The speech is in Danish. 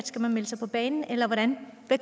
skal melde sig på banen eller hvordan hvad